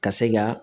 Ka se ka